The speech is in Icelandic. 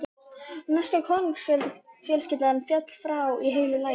Norska konungsfjölskyldan féll frá í heilu lagi.